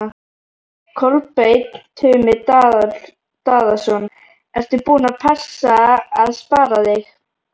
Kolbeinn Tumi Daðason: Ertu búin að passa að spara þig?